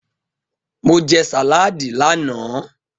Mo jẹ sàládì lánàá.